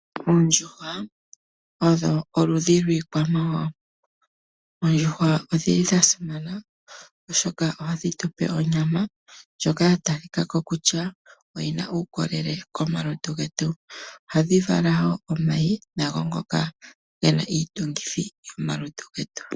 Oondjuhwa odho oludhi dhiikwamawawa. Oondjuhwa odha simana oshoka ohadhi tupe onyama ndjoka ya tali Ka ko kutya oyina uukolele komalutu getu. Ohadhi vala woo omayi ngoka gena iitungithi yapumbiwa moma lutu getu.